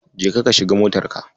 Jeka ka shiga motarka.